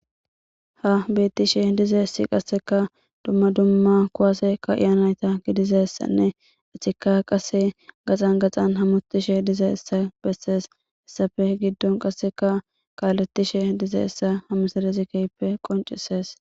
ha beettishe dize'essi qasseka dumma dumma kuwase ka iyanayta gidizessanne achika qase gaxan gaxan hamotishe diza essa bessees hessafe giddon qasseka kaaletishe dize issa hamusarezikeyppe qoncisees